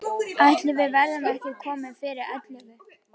Ætli við verðum ekki komin fyrir ellefu.